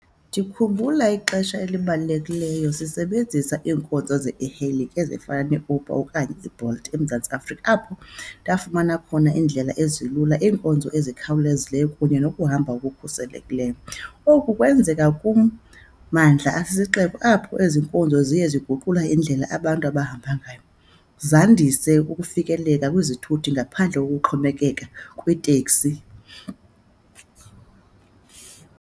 Ndikhumbula ixesha elibalulekileyo sisebenzisa iinkonzo ze-e-hailing ezifana neUber okanye iBolt eMzantsi Afrika, apho ndafumana khona iindlela ezilula, iinkonzo ezikhawulezileyo kunye nokuhamba okukhuselekileyo. Oku kwenzeka kum mandla asisixeko, apho ezi nkonzo ziye ziguqula indlela abantu abahamba ngayo, zandise ukufikelela kwizithuthi ngaphandle kokuxhomekeka kwiiteksi.